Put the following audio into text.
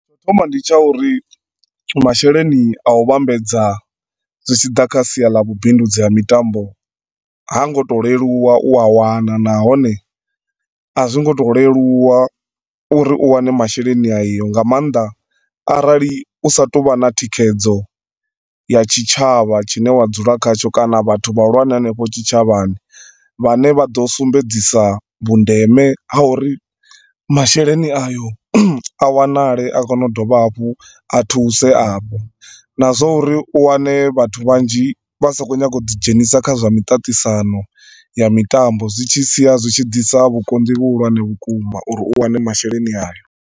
Tsho thoma ndi tsha uri masheleni a u vhambedza zwitshiḓa kha sia ḽa vhubidzi ha mitambo hangoto leluwa u a wana nahone a zwingoto leluwa uri u wane masheleni ayo nga maanḓa arali usa tovha na thikhedzo ya tshitshavha tshine wa dzula khatsho kana vhathu vhahulwane hanefho tshitshavhani vhane vhaḓo sumbedzisa vhundeme ha uri masheleni ayo a wanale a kone u dovha hafhu a thuse a hafho na zwa uri u wane vhathu vhanzhi vhasa kho nyaga uḓi dzhenisa kha zwa miṱaṱisano ya mitambo zwitshi sia zwitshi ḓisa vhukonḓi vhuhulwane vhukuma uri u wane masheleni ayo.